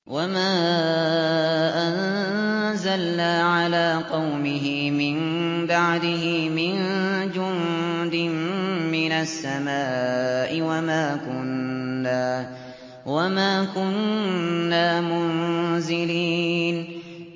۞ وَمَا أَنزَلْنَا عَلَىٰ قَوْمِهِ مِن بَعْدِهِ مِن جُندٍ مِّنَ السَّمَاءِ وَمَا كُنَّا مُنزِلِينَ